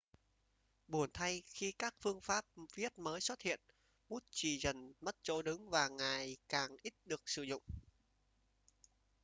buồn thay khi các phương pháp viết mới xuất hiện bút chì dần mất chỗ đứng và ngày càng ít được sử dụng